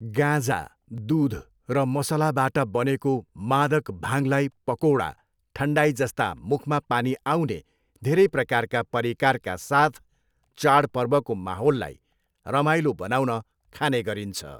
गाँजा, दुध र मसलाबाट बनेको मादक भाङलाई पकौडा, ठन्डाईजस्ता मुखमा पानी आउने धेरै प्रकारका परिकारका साथ चाडपर्वको माहोललाई रमाइलो बनाउन खाने गरिन्छ।